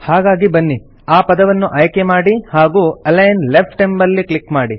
ಹಾಗಾಗಿ ಬನ್ನಿ ಆ ಪದವನ್ನು ಆಯ್ಕೆ ಮಾಡಿ ಹಾಗೂ ಅಲಿಗ್ನ್ ಲೆಫ್ಟ್ ಎಂಬಲ್ಲಿ ಕ್ಲಿಕ್ ಮಾಡಿ